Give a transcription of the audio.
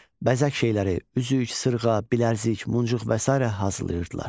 bəzək şeyləri, üzük, sırğa, bilərzik, muncuq və sairə hazırlayırdılar.